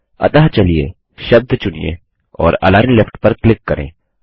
अतः चलिए शब्द वर्डचुनिए औरAlign Leftपर क्लिक करें